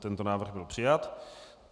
Tento návrh byl přijat.